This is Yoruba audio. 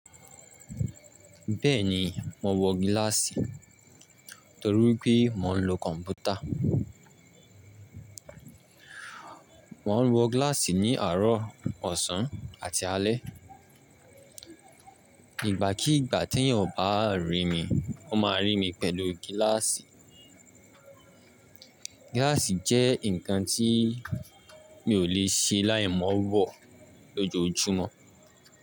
Bẹ́ẹ̀ni, mò ń wọ gíláàsì torí pé mò ń lo kọ̀m̀pútà. Mo ń wọ gíláàsì ní àárọ̀, ọ̀sán àti alẹ́. Ìgbà kí ìgbà tí ènìyàn bá rí mi, ó máa rí mi pẹ̀lú gíláàsì. Gíláàsì jẹ́ nǹkan tí mi ò lè ṣe láì mọ wọ̀ lójoojúmọ́.